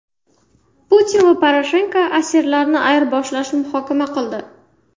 Putin va Poroshenko asirlarni ayirboshlashni muhokama qildi.